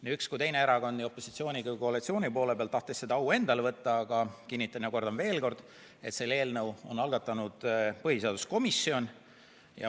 Nii üks kui teine erakond nii opositsiooni kui koalitsiooni poole pealt tahtis seda au endale võtta, aga kinnitan ja kordan veel kord, et selle eelnõu algatas põhiseaduskomisjon.